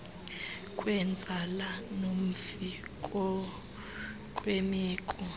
kwenzala nomfi ngokwemeko